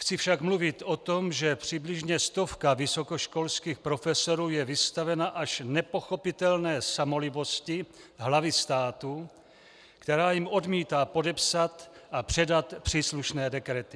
Chci však mluvit o tom, že přibližně stovka vysokoškolských profesorů je vystavena až nepochopitelné samolibosti hlavy státu, která jim odmítá podepsat a předat příslušné dekrety.